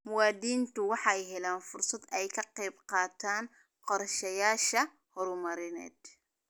Muwaadiniintu waxay helaan fursad ay kaga qayb qaataan qorshayaasha horumarineed.